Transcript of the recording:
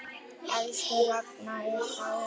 Elsku Ragna er dáin.